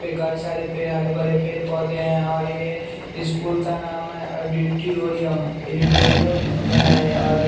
पे कई सारे पे हरे भरे पैर पौधे हैं और ये स्कूल का नाम है ऑडिटीओरियम ऐडिटोरियम इज़ है और ये --